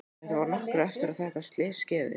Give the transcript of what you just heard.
Þetta var nokkru eftir að þetta slys skeði.